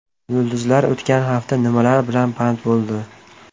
Yulduzlar o‘tgan hafta nimalar bilan band bo‘ldi?